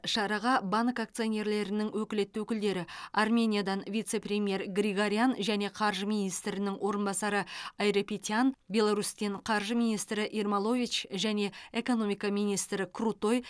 шараға банк акционерлерінің өкілетті өкілдері армениядан вице премьер григорян және қаржы министрінің орынбасары айрапетян беларусьтен қаржы министрі ермолович және экономика министрі крутой